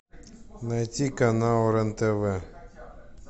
найти канал рен тв